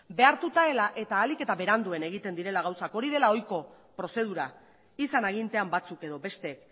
behartuta dela eta ahalik eta beranduen egiten direla gauzak hori dela ohiko prozedura izan agintean batzuk edo beste